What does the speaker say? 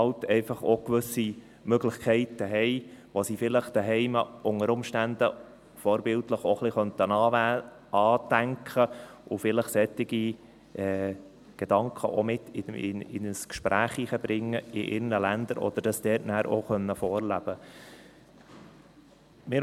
Diese bietet halt auch gewisse Möglichkeiten, die sie vielleicht zu Hause unter Umständen vorbildlich auch ein wenig andenken können, vielleicht solche Gedanken in ihren Ländern auch ins Gespräch einbringen und das dort auch vorleben können.